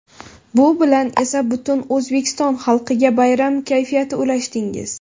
Bu bilan esa butun O‘zbekiston xalqiga bayram kayfiyati ulashdingiz.